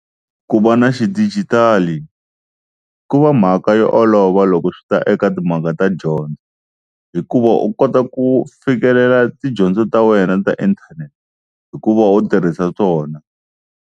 Ku va na xidijitali ku va mhaka yo olova loko swi ta eka timhaka ta dyondzo, hikuva u kota ku fikelela tidyondzo ta wena ta inthanete hi ku va u tirhisa tona.